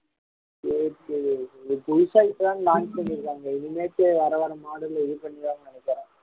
சரி சரி புதுசா இப்பதான் launch பண்ணியிருக்காங்க இனிமேட்டு வேற வேற model ல இது பண்ணிருவாங்கன்னு நினைக்கிறேன்